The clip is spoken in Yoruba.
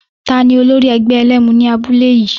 Tani olórí ẹgbẹ́ ẹlẹ́mu ní abúlé yìí?